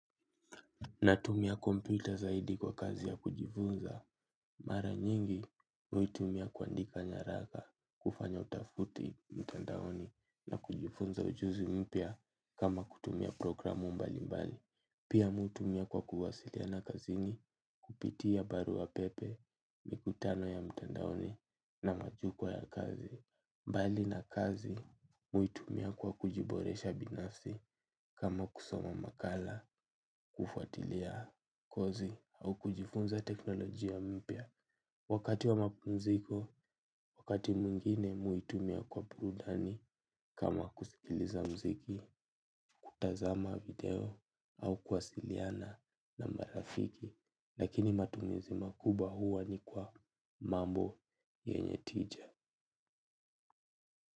Natumia kompyuta zaidi kwa kazi ya kujifunza. Mara nyingi, huitumia kuandika nyaraka kufanya utafuti mtandaoni na kujifunza ujuzi mpya kama kutumia programu mbali mbali. Pia mi hutumia kwa kuwasiliana kazini kupitia barua pepe, mikutano ya mtandaoni na majukwa ya kazi. Mbali na kazi, mi huitumia kwa kujiboresha binafsi kama kusoma makala, kufatilia kozi au kujifunza teknolojia mpya. Wakati wa mapumziko, wakati mwingine mi huitumia kwa burudani kama kusikiliza mziki, kutazama video au kuwasiliana na marafiki. Lakini matumizi makubwa huwa ni kwa mambo yenye tija.